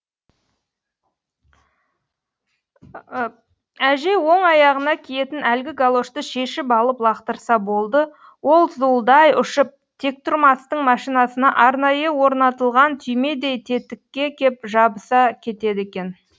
әжей оң аяғына киетін әлгі галошты шешіп алып лақтырса болды ол зуылдай ұшып тектұрмастың машинасына арнайы орнатылған түймедей тетікке кеп жабыса кетеді екен